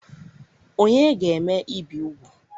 Ònye ga-eme ibi úgwù?